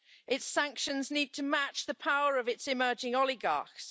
its sanctions need to match the power of its emerging oligarchs.